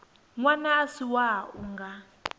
ṅwana a si wau nga